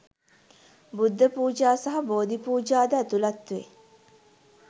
බුද්ධ පූජා සහ බෝධි පූජා ද ඇතුළත් වේ.